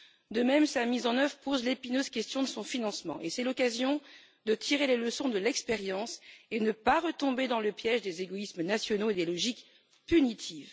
De même, sa mise en œuvre pose l'épineuse question de son financement, et c'est l'occasion de tirer les leçons de l'expérience et de ne pas retomber dans le piège des égoïsmes nationaux et des logiques punitives.